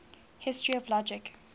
history of logic